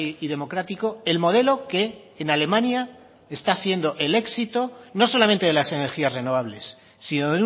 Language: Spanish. y democrático el modelo que en alemania está siendo el éxito no solamente de las energías renovables sino